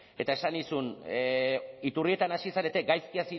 eta esan nizun iturrietan hasi zarete gaizki